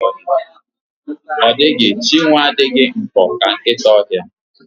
Ọ dịghị Chinwe adịghị nkọ ka nkịta ọhịa.